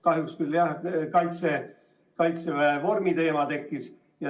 Kahjuks küll, jah, Kaitseväe vormi teema tekkis.